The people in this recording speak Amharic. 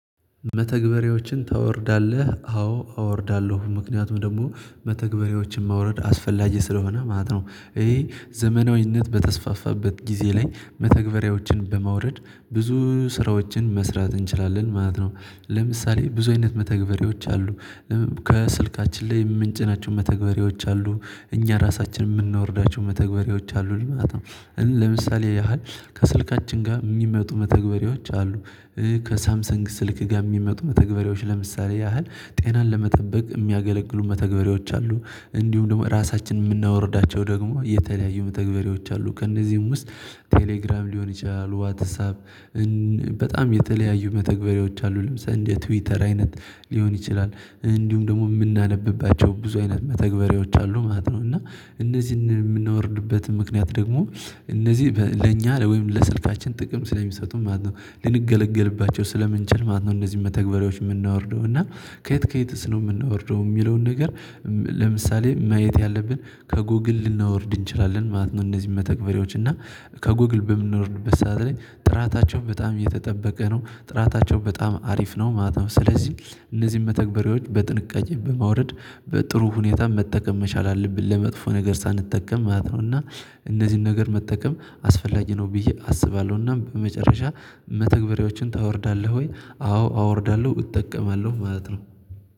መተግበሬዎችን ታወርዳለህ አዎ አወርዳለሁ ምክንያቱም ደግሞ መተግበሬዎችን ማውረድ አስፈላጊ ስለሆነ ማለት ነው። እሂ ዘመናዊነት በተስፋፋበት ጊዜ ላይ መተግበሪያዎችን በማውረድ ብዙ ስራዎችን መስራት እንችላለን ማለት ነው። ለምሳሌ ብዙ አይነት መተግበሬዎች አሉ። ከስልካችን ላይ የምንጭናቸው መተግበሪያዎች አሉ እኛ ራሳችን ምንወርዳቸው መተግበሪያዎች አሉን ማለት ነው። ለምሳሌ ያህል ከስልካችን ጋ ሚመጡ መተግበሪያዎች አሉ። ከሳምሰንግ ስልክ ጋ ሚመጡ መተግበሪያዎች ለምሳሌ ያህል ጤናን ለመጠበቅ ሚያገለግሉ መተግበሪያዎች አሉ። እንዲሁም ደግሞ ራሳችን የምናወርዳቸው ደግሞ የተለያዩ መተግበሪያዎች አሉ ከእነዚህም ውስጥ ቴሌግራም ሊሆን ይችላል። ዋትሳፕ። የተለያዩ መተግበሪያዎች አሉ ለምሳሌ እንደ ትዊተር አይነት ሊሆን ይችላል። እንዲሁም ደግሞ የምናነብባቸው ብዙ አይነት መተግበሪያዎች አሉ ማለት ነው። እና እነዚህን የምናወርድበት ምክንያት ደግሞ እነዚህ ለኛ ለወይም ለስልካችን ጥቅም ስለሚሰጡን ማለት ነው ልንገለገልባቸው ስለምንችል ማለት ነው። እነዚህን መተግበሪያዎች ምናወርደው እና ከየት ከየትስ ነው ምናወርደው የሚለውን ነገር። ለምሳሌ ማየት ያለብን ከጎግል ልናወርድ እንችላለን ማለት ነው። እነዚህን መተግበሪያዎች እና ከጎግል በምንኖርድበት ሰዓት ላይ ጥራታቸው በጣም የተጠበቀ ነው። ጥራታቸው በጣም አሪፍ ነው ማለት ነው። ስለዚህ እነዚህን መተግበሬዎች በጥንቃቄ በማውረድ በጥሩ ሁኔታ መጠቀም መቻል አለብን ለመጥፎ ነገር ሳንጠቀም ማለት ነው። እና እነዚህን ነገር መጠቀም አስፈላጊ ነው ብዬ አስባለሁና። በመጨረሻ መተግበሪያዎችን ታወርዳለህ? ወይ አዎ አወርዳለሁ እጠቀማለሁ ማለት ነው